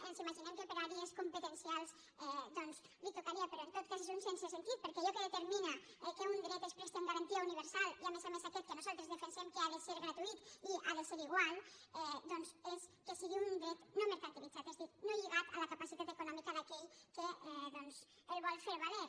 ens imaginem que per àrees competencials doncs li tocaria però en tot cas és un sense sentit perquè allò que determina que un dret es presti amb garantia universal i a més a més aquest que nosaltres defensem que ha de ser gratuït i ha de ser igual és que sigui un dret no mercantilitzat és a dir no lligat a la capacitat econòmica d’aquell que el vol fer valer